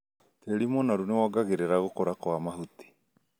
Tĩri mũnoru nĩwongagĩrĩra gũkũra kwa mahuti